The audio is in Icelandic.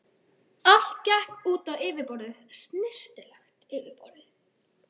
Allt gekk út á yfirborðið, snyrtilegt yfirborðið.